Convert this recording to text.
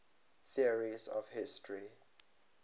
theories of history